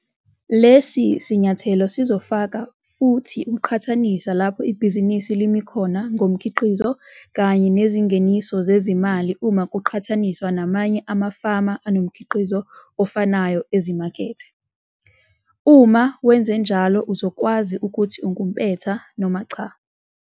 Lesi sinyathelo sizofaka futhi ukuqhathanisa lapho ibhizinisi limi khona ngomkhiqizo kanye nezingeniso zezimali uma kuqhathaniswa namanye amafama anomkhiqizo ofanayo ezimakethe. Uma wenza njalo uzokwazi ukuthi ungumpetha noma cha.